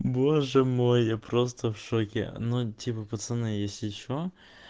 боже мой я просто в шоке ну типа пацаны если что